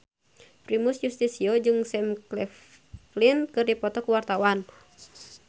Primus Yustisio jeung Sam Claflin keur dipoto ku wartawan